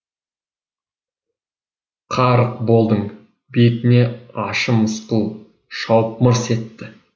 қарық болдың бетіне ащы мысқыл шауып мырс етті